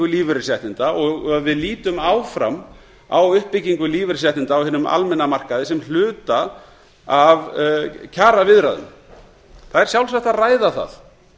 lífeyrisréttinda og að við lítum áfram á uppbyggingu lífeyrisréttinda á hinum almenna markaði sem hluta af kjaraviðræðum það er sjálfsagt að ræða það